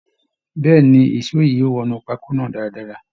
Bẹ́ẹ̀ ni, èsó yìí yóò wọnú pákó náà daadaa